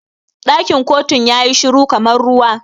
Ɗakin kotun yayi shiru kamar ruwa.